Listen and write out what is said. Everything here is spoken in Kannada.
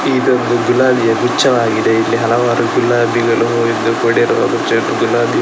ಇದೊಂದು ಗುಲಾಬಿಯ ಗುಚ್ಛವಾಗಿದೆ ಇಲ್ಲಿ ಹಲವಾರು ಗುಲಾಬಿಗಳು ಹೂವಿಂದ ಕೂಡಿರುವ ಗುಚ್ಛ ಗುಲಾಬಿ --